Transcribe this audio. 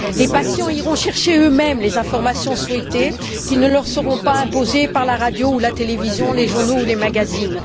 Les patients iront chercher eux mêmes les informations souhaitées, qui ne leur seront pas imposées par la radio ou la télévision, les journaux ou les magazines.